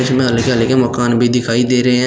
उसमें हल्के हल्के मकान भी दिखाई दे रहे हैं।